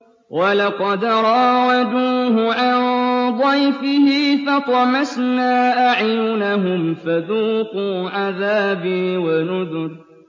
وَلَقَدْ رَاوَدُوهُ عَن ضَيْفِهِ فَطَمَسْنَا أَعْيُنَهُمْ فَذُوقُوا عَذَابِي وَنُذُرِ